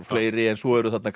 fleiri svo eru þarna